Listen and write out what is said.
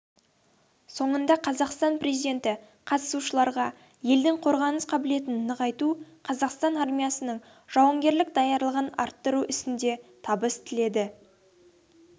соңында қазақстан президенті қатысушыларға елдің қорғаныс қабілетін нығайту қазақстан армиясының жауынгерлік даярлығын арттыру ісінде табыс тіледі